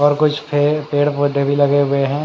और कुछ पे पेड़ पोधे भी लगे हुए है।